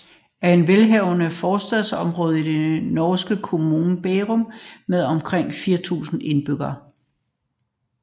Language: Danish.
Eiksmarka er et velhavende forstadsområde i den norske kommune Bærum med omkring 4000 indbyggere